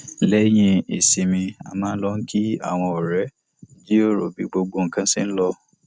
lẹyìn ìsinmi a máa ń lọ kí àwọn ọrẹ jíròrò bí gbogbo nǹkan ṣe lọ